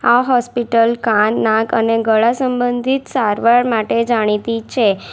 આ હોસ્પિટલ કાન નાક અને ગળા સંબંધિત સારવાર માટે જાણીતી છે.